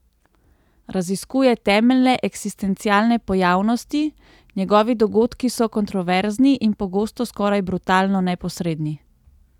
Raziskuje temeljne eksistencialne pojavnosti, njegovi dogodki so kontroverzni in pogosto skoraj brutalno neposredni.